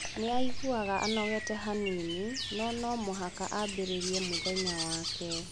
Nĩ aiguaga anogete hanini, no no mũhaka ambĩrĩrie mũthenya wake.